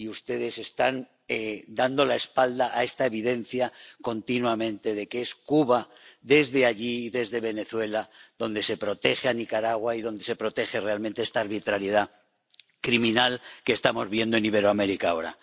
Y ustedes están dando la espalda a esta evidencia continuamente, la de que es Cuba, desde allí y desde Venezuela, donde se protege a Nicaragua y donde se protege realmente esta arbitrariedad criminal que estamos viendo en Iberoamérica ahora.